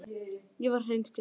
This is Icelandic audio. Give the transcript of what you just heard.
Ég var hreinskilin.